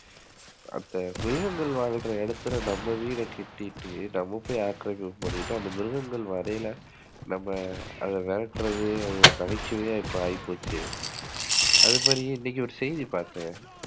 அப்ப மிருகங்கள் வாழுற இடத்துல நம்ம போய் வீட்டகட்டிட்டு, நம்ம போய் ஆக்கிரமிப்பு பண்ணிட்டு அந்த மிருகங்கள் வரையில நம்ம போய் அத விரட்டுறது அது ஒரு நகைச்சுவையா இப்ப ஆகிப்போச்சு அது சரி இன்னைக்கு ஒரு செய்தி பாத்தேன்.